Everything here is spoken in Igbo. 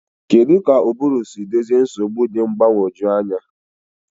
Kedu ka ụbụrụ si dozie nsogbu dị mgbagwoju anya?